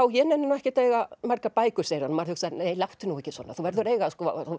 ég nenni ekkert að eiga margar bækur segir hann og maður hugsar nei láttu nú ekki svona þú verður að eiga að